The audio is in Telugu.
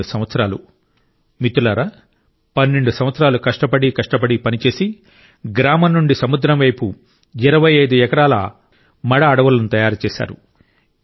పన్నెండు సంవత్సరాలు మిత్రులారా పన్నెండు సంవత్సరాలు కష్టపడి కష్టపడి పనిచేసి గ్రామం నుండి సముద్రం వైపు 25 ఎకరాల మడ అడవులను తయారు చేశారు